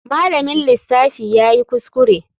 Malamin lissafi yayi kuskure.